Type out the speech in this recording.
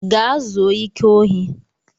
Gaa zuo ike ohi!